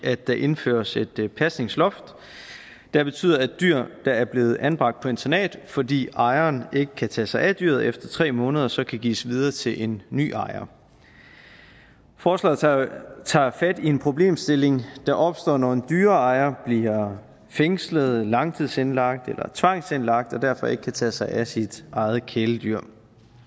at der indføres et pasningsloft der betyder at dyr der er blevet anbragt på internat fordi ejeren ikke kan tage sig af dyret efter tre måneder så kan gives videre til en ny ejer forslaget tager tager fat i en problemstilling der opstår når en dyreejer bliver fængslet langtidsindlagt eller tvangsindlagt og derfor ikke kan tage sig af sit eget kæledyr